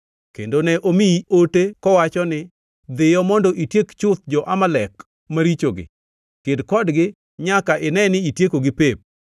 Kendo ne omiyi ote, kowacho ni, ‘Dhiyo mondo itiek chuth jo-Amalek marichogi; ked kodgi nyaka ine ni itiekogi pep.’